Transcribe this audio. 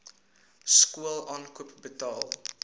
skool aankoop betaal